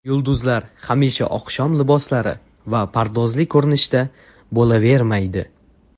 Yulduzlar hamisha oqshom liboslari va pardozli ko‘rinishda bo‘lavermaydi.